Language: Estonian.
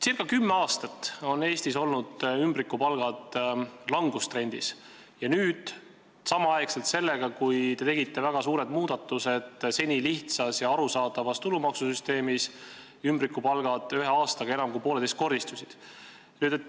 Circa kümme aastat on Eestis ümbrikupalkade maksmine langustrendis olnud ja nüüd – samal ajal sellega, kui te tegite väga suured muudatused senises lihtsas ja arusaadavas tulumaksusüsteemis – on see ühe aastaga enam kui pooleteistkordistunud.